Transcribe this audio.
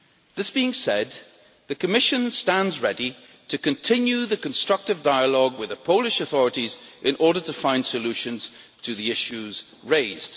That said, the Commission stands ready to continue the constructive dialogue with the Polish authorities in order to find solutions to the issues raised.